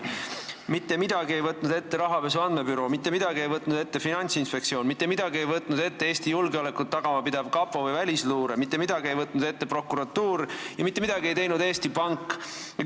Mitte midagi ei võtnud ette rahapesu andmebüroo, mitte midagi ei võtnud ette Finantsinspektsioon, mitte midagi ei võtnud ette Eesti julgeolekut tagama pidav kapo või välisluure, mitte midagi ei võtnud ette prokuratuur ja mitte midagi ei teinud Eesti Pank.